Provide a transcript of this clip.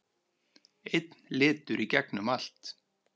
Einn litur í gegnum allt.